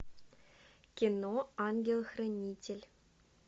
кино ангел хранитель